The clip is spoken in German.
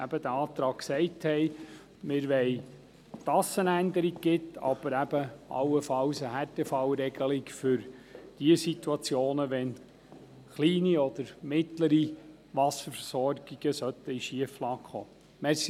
Wir setzen uns für eine Änderung ein, aber eben allenfalls auch für eine Härtefallregelung für diejenigen Situationen, wenn kleine und mittlere Wasserversorgungen in Schieflage geraten sollten.